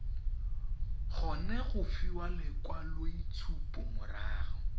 kgone go fiwa lekwaloitshupo morago